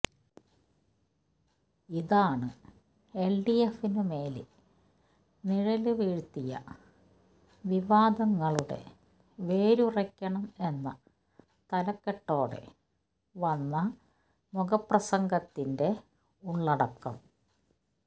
ഇതാണ് എല്ഡിഎഫിനു മേല് നിഴല് വീഴ്ത്തിയ വിവാദങ്ങളുടെ വേരറുക്കണം എന്ന തലക്കെട്ടോടെ വന്ന മുഖപ്രസംഗത്തിന്റെ ഉള്ളടക്കം